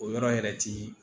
O yɔrɔ yɛrɛ ti